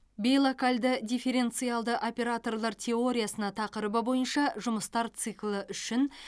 бейлокальды дифференциалды операторлар теориясына тақырыбы бойынша жұмыстар циклі үшін